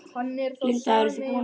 Linda: Eruð þið búin að kjósa?